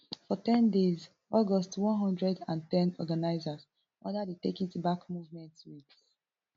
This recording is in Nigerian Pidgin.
for ten days august one hundred and ten organisers under di take it back movement wit